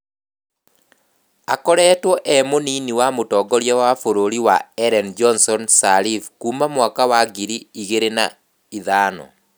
Akoretwe ee munini wa mũtongoria wa bũrũri wa Ellen Johnson Sirleaf kuuma mwaka wa ngiri igĩrĩ na ithano